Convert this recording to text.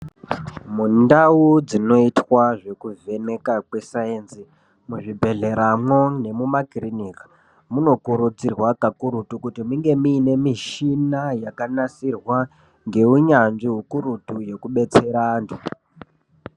Mundau dzinoitwa zvekuvheneka kwesayenzi muzvibheheramwo nemumakirinika munokurudzirwa kakurutu kuti munge mune mishina yakanasirwa ngeunyanzvi ukurutu yekubetsera anhu.